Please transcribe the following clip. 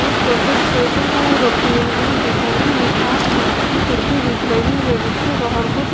एक पर कुछ टैटूऊऊ रखे हुए हैं सामने एक काँच दि की खिड़की दिख रही है जिसके बाहर कुछ --